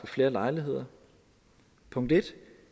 flere lejligheder punkt 1